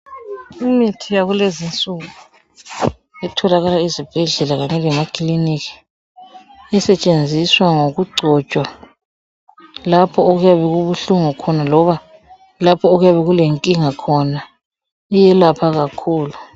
Imithi yakulezi insuku etholakala ezibhedlela kanye lemakilinika, esetshenziswa ngokugcotshwa lapho okuyabe kubuhlungu khona loba lapho okuyabe kulenkinga khona ,iyelapha kakhulu .